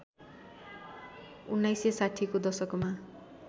१९६०को दशकमा